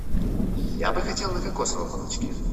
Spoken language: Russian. я бы хотел на кокосовом молочке